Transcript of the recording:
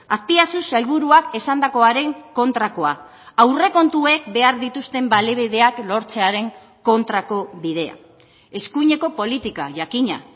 azpiazu sailburuak esandakoaren kontrakoa aurrekontuek behar dituzten baliabideak lortzearen kontrako bidea eskuineko politika jakina